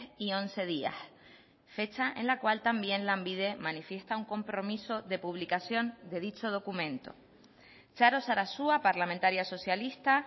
y once días fecha en la cual también lanbide manifiesta un compromiso de publicación de dicho documento txaro sarasua parlamentaria socialista